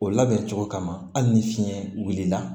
O labɛn cogo kama hali ni fiɲɛ wulila